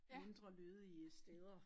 Mindre lødige steder